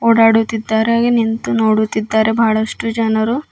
ಓಡಾಡುತ್ತಿದ್ದಾರೆ ಹಾಗೇ ನಿಂತು ನೋಡುತ್ತಿದ್ದಾರೆ ಬಹಳಷ್ಟು ಜನರು.